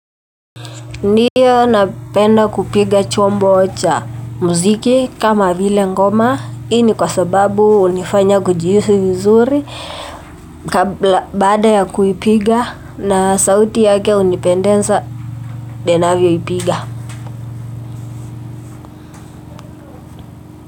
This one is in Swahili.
Ndiyo napenda kupiga chombo cha muziki kama vile ngoma i ni kwa sababu unifanya kujihisi vizuri kabla baada ya kuipiga na sauti yake hunipendensa ninavyo ipiga.